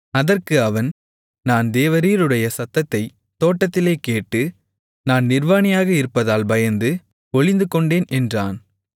அதற்கு அவன் நான் தேவரீருடைய சத்தத்தைத் தோட்டத்திலே கேட்டு நான் நிர்வாணியாக இருப்பதால் பயந்து ஒளிந்துகொண்டேன் என்றான்